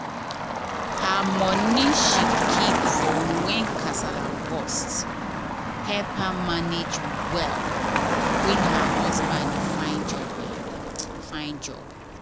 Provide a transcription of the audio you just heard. her money she keep for when kasala burst help her manage well when her husband dey find job. find job.